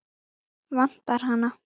Vantar hana?